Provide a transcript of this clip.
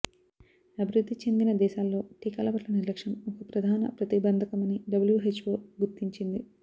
అభివృద్ధి చెందిన దేశాల్లో టీకాల పట్ల నిర్లక్ష్యం ఒక ప్రధాన ప్రతిబంధకమని డబ్ల్యూహెచ్వో గుర్తించింది